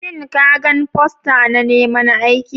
Shin ka gan fosta na neman aiki?